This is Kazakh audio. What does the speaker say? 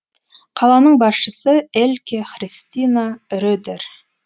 қаланың басшысы эльке христина редер